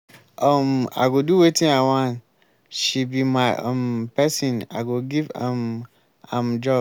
um i go do wetin i wan she be my um person i go give um am job.